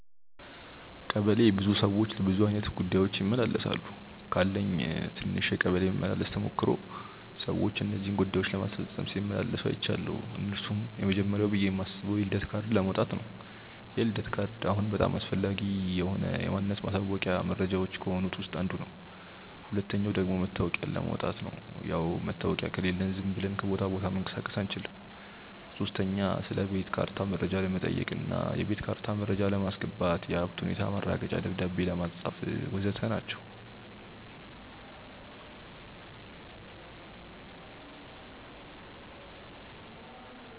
ቀበሌ ብዙ ሰዎች ለብዙ አይነት ጉዳዮች ይመላለሳሉ። ካለኝ ትንሽ የቀበሌ መመላለስ ተሞክሮ ሰዎች እነዚህን ጉዳዮች ለማስፈጸም ሲመላለሱ አይችያለው። እነርሱም፦ የመጀመርያው ብዬ ማስበው የልደት ካርድ ለማውጣት ነው፤ የልደት ካርድ አሁን በጣም አስፈላጊ ማንነት ማሳወቂያ መረጃዎች ከሆኑት ውስጥ አንዱ ነው። ሁለተኛው ደግሞ መታወቂያ ለማውጣት፣ ያው መታወቂያ ከሌለን ዝም ብለን ከቦታ ቦታ መንቀሳቀስ አንችልም። ሶስተኛ ስለቤት ካርታ መረጃ ለመጠየቅ እና የቤት ካርታ መረጃ ለማስገባት፣ የሀብት ሁኔታ ማረጋገጫ ደብዳቤ ለማጻፍ.... ወዘተ ናቸው።